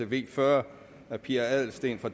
v fyrre af pia adelsteen og